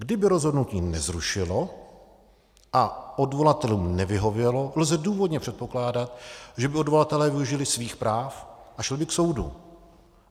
Kdyby rozhodnutí nezrušilo a odvolatelům nevyhovělo, lze důvodně předpokládat, že by odvolatelé využili svých práv a šli by k soudu.